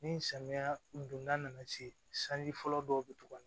Ni samiya donda nana se sanji fɔlɔ dɔw bɛ tugu a la